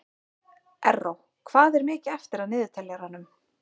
Erró, hvað er mikið eftir af niðurteljaranum?